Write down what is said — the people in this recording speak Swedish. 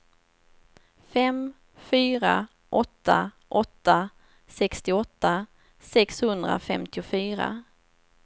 fem fyra åtta åtta sextioåtta sexhundrafemtiofyra